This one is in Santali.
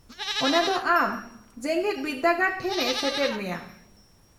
-ᱚᱱᱟ ᱫᱚ ᱟᱢ ᱡᱮᱜᱮᱫ ᱵᱤᱨᱫᱟᱹᱜᱟᱲ ᱴᱷᱮᱱ ᱮ ᱥᱮᱴᱮᱨ ᱢᱮᱭᱟ ᱾